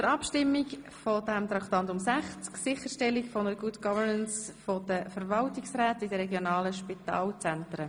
Wir stimmen ab über Traktandum 60, Sicherstellen einer Good Governance der Verwaltungsräte in den regionalen Spitalzentren.